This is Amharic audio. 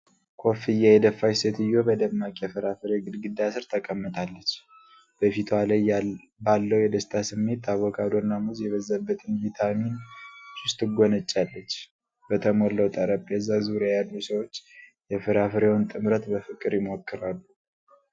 ኮፍያ የደፋች ሴትዮ በደማቅ የፍራፍሬ ግድግዳ ሥር ተቀምጣለች። በፊቷ ላይ ባለው የደስታ ስሜት አቮካዶና ሙዝ የበዛበትን ቪታሚን ጁስ ትጎነጫለች። በተሞላው ጠረጴዛ ዙሪያ ያሉ ሰዎች የፍራፍሬውን ጥምረት በፍቅር ይሞክራሉ።